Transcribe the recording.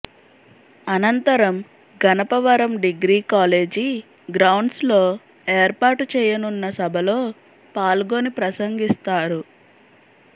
అనంతరం Ganapavaram degree college grounds లో ఏర్పాటుచేయనున్న సభలో పాల్గొని ప్రసంగిస్తారు